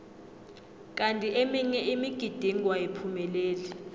kanti eminye imigidingo ayiphumeleli